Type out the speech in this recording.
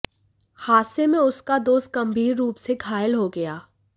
हादसे में उसका दोस्त गंभीर रूप से घायल हो गया